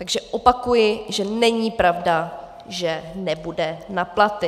Takže opakuji, že není pravda, že nebude na platy.